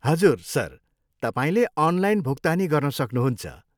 हजुर, सर, तपाईँले अनलाइन भुक्तानी गर्न सक्नुहुन्छ।